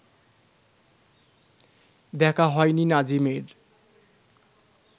দেখা হয়নি নাজিমের